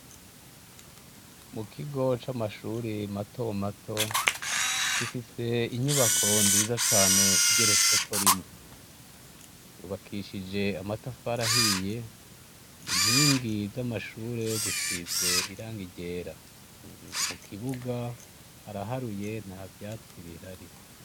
Mukigo c'amashure matomato gifise inyubako nziza cane igeretse ko rimwe. Yubakishije amatafari ahiye inkingi zamashure zisigishije irangi ryera, mukibuga haraharuye ntavyatsi bihari.